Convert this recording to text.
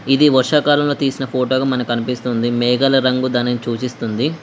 ఇది వర్షాకాలంలో తీసిన ఫోటో గా మనకి అనిపిస్తుంది మేఘాల రంగు దానిని సూచిస్తుంది.